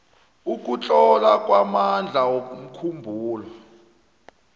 ukutlola kwamandla womkhumbulo